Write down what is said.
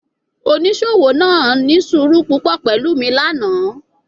Onisowo naa ni suuru pupọ pẹlu mi lana